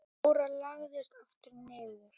Jóra lagðist aftur niður.